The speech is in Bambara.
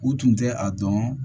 U tun tɛ a dɔn